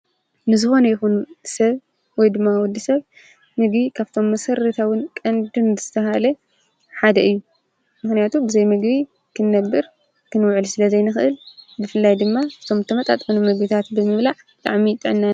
ንዝሆን ይኹን ሰብ ወይ ድማ ወዲ ሰብ ምጊ ካብቶም መሠርተውን ቀንድን ዝተሃለ ሓደ እዩ ምህንያቱ ብዘይ ምግቢ ክነብር ክንውዕል ስለ ዘይንኽእል ድፍላይ ድማ ቶምተመጣጥኦኑ መግቢታት በምብላዕ ላዕሚ ጠና